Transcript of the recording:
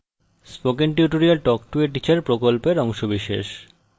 spoken tutorial talk to a teacher প্রকল্পের অংশবিশেষ